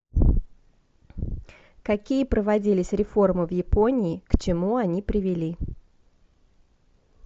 какие проводились реформы в японии к чему они привели